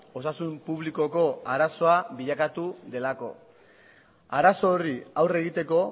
osasun publikoko arazoa bilakatu delako arazo horri aurre egiteko